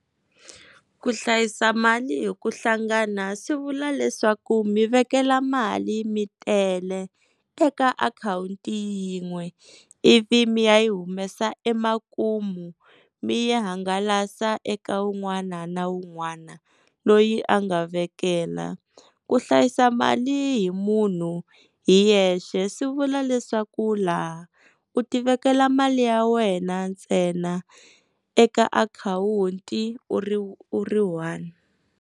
Ku hlayisa mali hi ku hlangana swi vula leswaku mi vekela mali mi tele eka akhawunti yin'we ivi mi ya yi humesa emakumu mi yi hangalasa eka wun'wana na wun'wana loyi a nga vekela ku hlayisa mali hi munhu hi yexe swi vula leswaku laha u tivekela mali ya wena ntsena eka akhawunti u ri one.